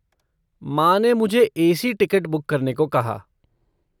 माँ ने मुझे ए.सी. टिकट बुक करने को कहा।